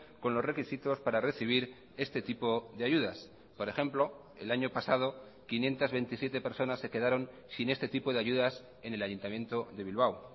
con los requisitos para recibir este tipo de ayudas por ejemplo el año pasado quinientos veintisiete personas se quedaron sin este tipo de ayudas en el ayuntamiento de bilbao